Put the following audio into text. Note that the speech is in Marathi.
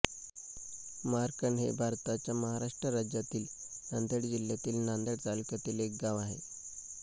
मार्कंड हे भारताच्या महाराष्ट्र राज्यातील नांदेड जिल्ह्यातील नांदेड तालुक्यातील एक गाव आहे